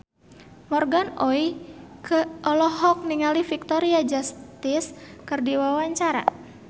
Morgan Oey olohok ningali Victoria Justice keur diwawancara